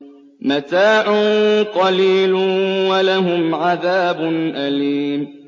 مَتَاعٌ قَلِيلٌ وَلَهُمْ عَذَابٌ أَلِيمٌ